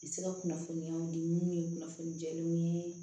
I bɛ se ka kunnafoniyaw di minnu ye kunnafoni diw ye